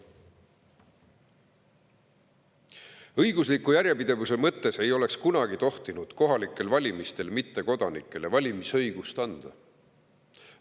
Õigusliku järjepidevuse mõttes ei oleks kunagi tohtinud kohalikel valimistel mittekodanikele valimisõigust anda.